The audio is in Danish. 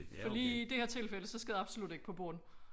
For lige i det her tilfælde så skal det absolut ikke på bånd